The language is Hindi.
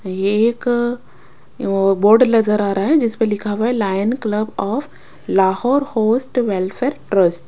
ये एक ओ बोर्ड लजर आ रहा है जिस पर लिखा हुआ है Lions Club of Lahore Host Welfare trust--